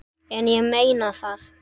En ég meina það.